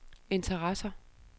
interesserer